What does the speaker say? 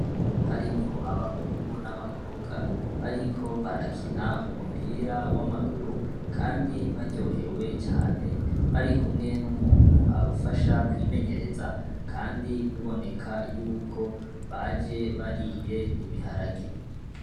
Harimwo abahungu n'abakobwa, bariko barakina umupira w'amaguru. Kandi baryohewe cane, bari kumwe n'umuntu abafasha kwimenyereza. Kandi biboneka y'uko baje batoye ibiharage.